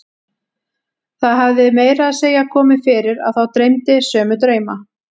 Það hafði meira að segja komið fyrir að þá dreymdi sömu drauma.